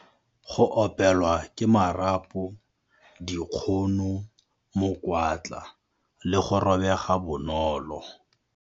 Go opelwa ke marapo, dikgono, mokwatla le go robega bonolo.